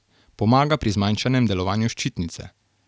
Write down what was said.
Pomaga pri zmanjšanem delovanju ščitnice.